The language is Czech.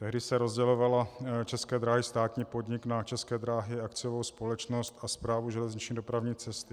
Tehdy se rozdělovaly České dráhy, státní podnik, na České dráhy, akciovou společnost, a Správu železniční dopravní cesty.